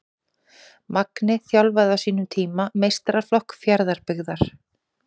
Magni þjálfaði á sínum tíma meistaraflokk Fjarðabyggðar.